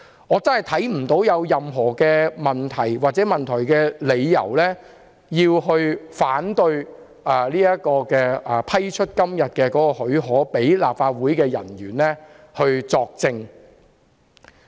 我真的看不見有任何問題或理由，令議員反對批出讓立法會人員作證的許可。